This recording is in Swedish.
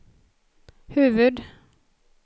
huvud-